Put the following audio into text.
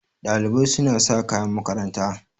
Ɗalibai suna sa kayan makaranta.